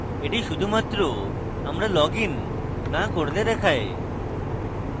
এটি শুধুমাত্র আমরা লগইন now করলে দেখায়